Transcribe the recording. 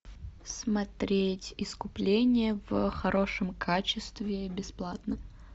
смотреть искупление в хорошем качестве бесплатно